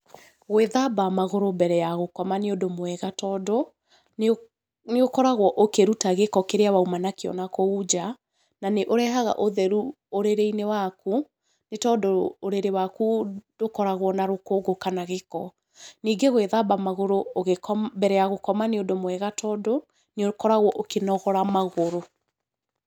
Gũĩthamba magũrũ mbere ya gũkoma nĩ ũndũ mwega, tondũ nĩ ũkoragwo ũkĩruta gĩko kĩrĩa wauma nakĩo nakũũ nja, na nĩ ũrehaga ũtheru ũrĩrĩ-inĩ waku, nĩ tondũ ũrĩrĩ waku ndũkoragwa na rũkũngũ kana gĩko. Ningĩ gũĩthamba magũrũ mbere ya gũkoma nĩũndũ mwega, tondũ nĩ ũkoragwa ũkĩnogora magũrũ.